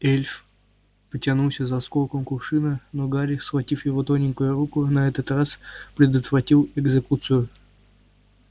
эльф потянулся за осколком кувшина но гарри схватив его тоненькую руку на этот раз предотвратил экзекуцию